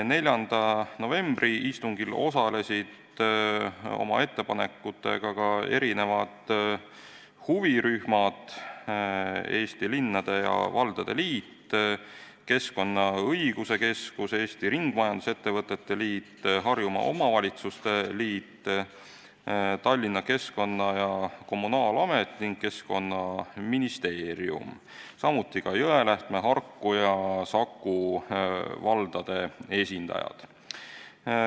4. novembri istungil osalesid oma ettepanekutega ka huvirühmad: Eesti Linnade ja Valdade Liit, Keskkonnaõiguse Keskus, Eesti Ringmajandusettevõtete Liit, Harjumaa Omavalitsuste Liit, Tallinna Keskkonna- ja Kommunaalamet ning Keskkonnaministeerium, samuti Jõelähtme, Harku ja Saku valla esindajad.